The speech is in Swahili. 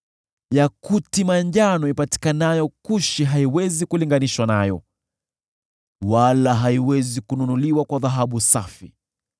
Yakuti manjano ipatikanayo Kushi haiwezi kulinganishwa nayo, wala haiwezi kununuliwa kwa dhahabu safi.